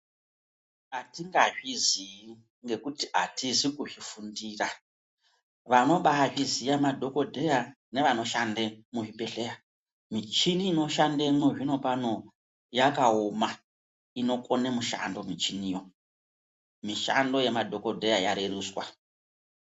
Atinga zvizi ngekuti atizi kuzvi fundira vanobai zviziya madhokodheya nevano shande mu zvibhedhleya michini ino shandemwo zvino pano yakaoma inokone mushando michiniyo mishando yema dhokodheya ya reruswa.